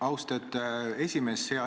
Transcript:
Austatud esimees!